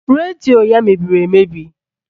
Redio ya mebiri emebi